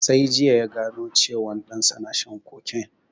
Sai jiya ya gano cewan ɗan sa na shan cocaine